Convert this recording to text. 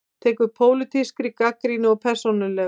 Tekur pólitískri gagnrýni of persónulega